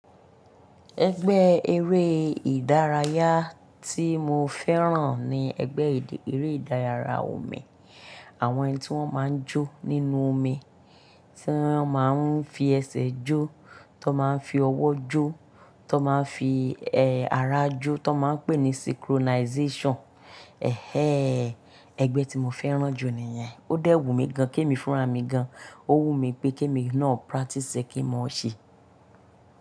Ẹgbẹ́ eré ìdárayá tí mo fẹ́ràn ni ẹgbẹ́ eré ìdárayá omi. Àwọn ẹni tí wọ́n máa ń jó nínú omi, tí wọ́n máa ń fi ẹsẹ̀ jó, tó máa ń fi ọwọ́ jó, tó máa ń fi, ara jó, tó máa ń pè ní synchronization. Ẹgbẹ́ tí mo fẹ́ràn jù nìyẹn. Ó dẹ́ wùn mi gan, ké mi fúnra mi gan, ó wùn mí pé ké mi náà practice e kí ń mọ̀ ọ́ ṣe.